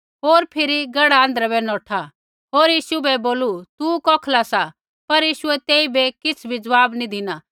होर फिरी गढ़ा आँध्रै बै नौठु होर यीशु बै बोलू तू कौखला सा पर यीशुऐ तेइबै किछ़ भी ज़वाब नैंई धिना